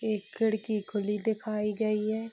एक खिड़की खुली दिखाई गई है।